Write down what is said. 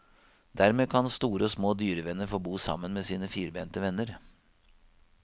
Dermed kan store og små dyrevenner få bo sammen med sine firbente venner.